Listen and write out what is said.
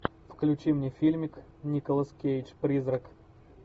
включи мне фильмик николас кейдж призрак